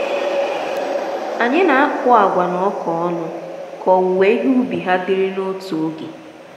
anyị na-akụ agwa na ọka ọnụ ka owuwe ihe ubi ha dịrị n'otu oge.